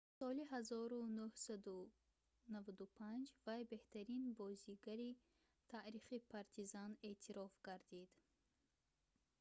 соли 1995 вай беҳтарин бозигари таърихи партизан эътироф гардид